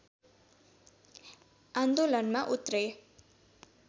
आन्दोलनमा उत्रे